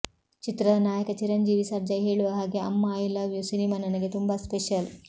ಚಿತ್ರದ ನಾಯಕ ಚಿರಂಜೀವಿ ಸರ್ಜಾ ಹೇಳುವ ಹಾಗೆ Amma I love you cinema ನನಗೆ ತುಂಬಾ ಸ್ಪೆಷಲ್